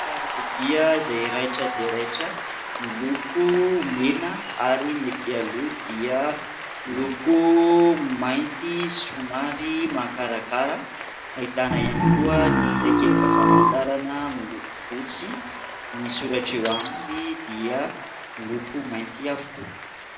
Fiara izay raitra dia raitra miloko mena ary ny aty aloa dia niloko mainty somary makarakara ahitana ihany koa ny takelaka famantarana miloko fotsy ny soratra eo aminy dia niloko mainty avokoa